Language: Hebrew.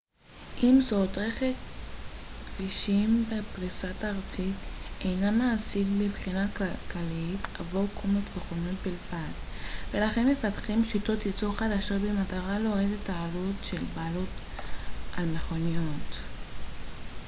עם זאת רשת כבישים בפריסה ארצית אינה מעשית מבחינה כלכלית עבור קומץ מכוניות בלבד ולכן מפתחים שיטות ייצור חדשות במטרה להוריד את העלות של בעלות על מכוניות